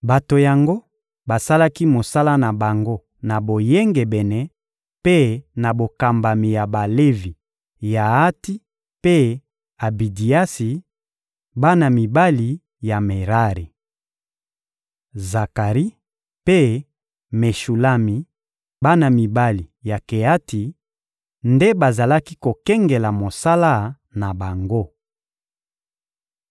Bato yango basalaki mosala na bango na boyengebene mpe na bokambami ya Balevi Yaati mpe Abidiasi, bana mibali ya Merari. Zakari mpe Meshulami, bana mibali ya Keati, nde bazalaki kokengela mosala na bango.